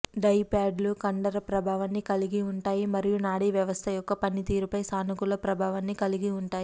dry ప్యాడ్లు కండర ప్రభావాన్ని కలిగి ఉంటాయి మరియు నాడీ వ్యవస్థ యొక్క పనితీరుపై సానుకూల ప్రభావాన్ని కలిగి ఉంటాయి